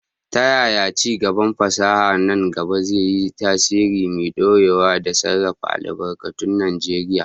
Ta yaya ci gaban fasaha a nan gaba zai yi tasiri mai dorewa da sarrafa albarkatun Najeriya?